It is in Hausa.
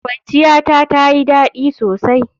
Kwanciyata tayi dadi sosai.